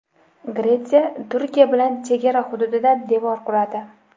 Gretsiya Turkiya bilan chegara hududida devor quradi.